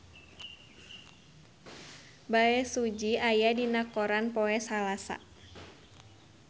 Bae Su Ji aya dina koran poe Salasa